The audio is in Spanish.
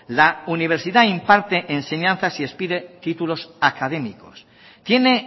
la universidad imparte enseñanzas y expide títulos académicos tiene